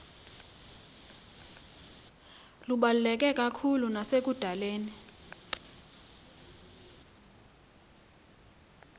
lubaluleke kakhulu nasekudaleni